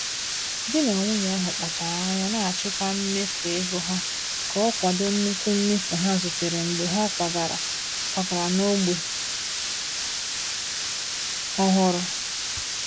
Di na nwunye ahụ kpachara anya na-achịkwa mmefu ego ha ka o kwado nnukwu mmefu ha zutere mgbe ha kwagara kwagara n’ógbè ọhụrụ.